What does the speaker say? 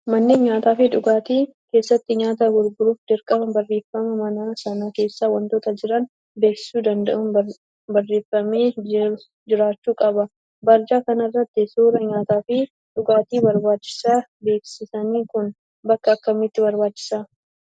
Manneen nyaataa fi dhugaatii keessatti nyaata gurguruuf dirqama barreeffama mana sana keessa wantoota jiran beeksisuu danda'u barreeffamee jiraachuu qaba. Barjaa kanarratti suuraa nyaataa fi dhugaatii barbaachisa. Beeksisni kun bakka akkamiitti barbaachisaa ?